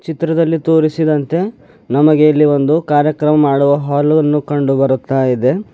ಚಿತ್ರದಲ್ಲಿ ತೋರಿಸಿದಂತೆ ನಮಗೆ ಇಲ್ಲಿ ಒಂದು ಕಾರ್ಯಕ್ರಮ ಮಾಡುವ ಹಾಲ್ ಅನ್ನು ಕಂಡು ಬರುತ್ತಾ ಇದೆ.